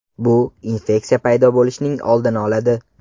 Bu infeksiya paydo bo‘lishining oldini oladi.